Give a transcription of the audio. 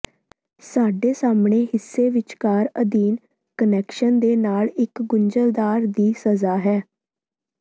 ਸਾਡੇ ਸਾਹਮਣੇ ਹਿੱਸੇ ਵਿਚਕਾਰ ਅਧੀਨ ਕੁਨੈਕਸ਼ਨ ਦੇ ਨਾਲ ਇੱਕ ਗੁੰਝਲਦਾਰ ਦੀ ਸਜ਼ਾ ਹੈ